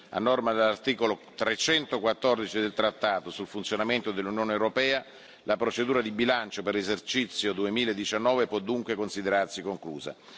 A norma dell'articolo 314 del trattato sul funzionamento dell'Unione europea, la procedura di bilancio per l'esercizio 2019 può dunque considerarsi conclusa.